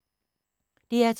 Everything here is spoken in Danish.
DR2